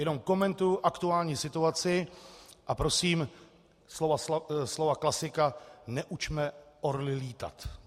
Jenom komentuji aktuální situaci a prosím slovy klasika: Neučme orly lítat.